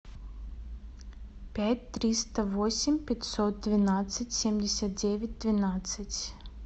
пять триста восемь пятьсот двенадцать семьдесят девять двенадцать